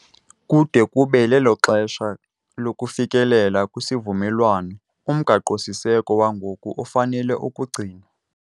Kude kube lelo xesha lokufikelela kwisivumelwano uMgaqo-siseko wangoku ufanele ukugcinwa.